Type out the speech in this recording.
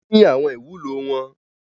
Wọ́n ní àwọn ìwúlò wọn.